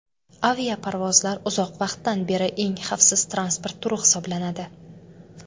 Aviaparvozlar uzoq vaqtdan beri eng xavfsiz transport turi hisoblanadi.